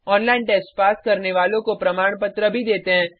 online test pass करने वालों को प्रमाण पत्र भी देते हैं